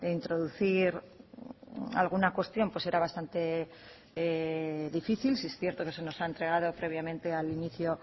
introducir alguna cuestión era bastante difícil sí es cierto que se nos ha entregado previamente al inicio